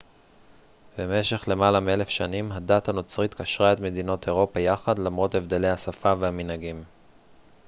במשך למעלה מאלף שנים הדת הנוצרית קשרה את מדינות אירופה יחד למרות הבדלי השפה והמנהגים